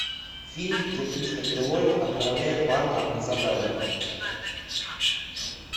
фильм где кристофер ллойд отправляет парня на задание